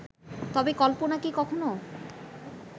তবে কল্পনা কি কখনো